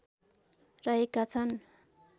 रहेका छन